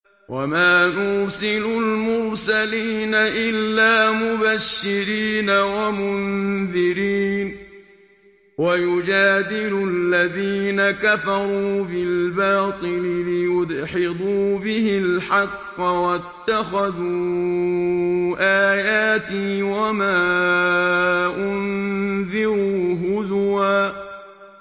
وَمَا نُرْسِلُ الْمُرْسَلِينَ إِلَّا مُبَشِّرِينَ وَمُنذِرِينَ ۚ وَيُجَادِلُ الَّذِينَ كَفَرُوا بِالْبَاطِلِ لِيُدْحِضُوا بِهِ الْحَقَّ ۖ وَاتَّخَذُوا آيَاتِي وَمَا أُنذِرُوا هُزُوًا